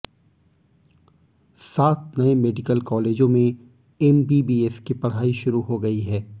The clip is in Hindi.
सात नए मेडिकल कॉलेजों में एमबीबीएस की पढ़ाई शुरू हो गई है